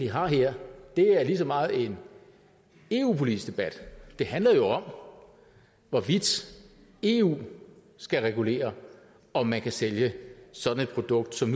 har her er lige så meget en eu politisk debat det handler om hvorvidt eu skal regulere om man kan sælge sådan et produkt som